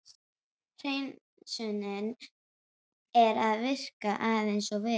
hreinsunin er að virka aðeins of vel.